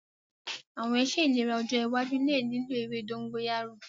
Awọn iṣe ilera ọjọ iwaju le lilo ewe dogoyaro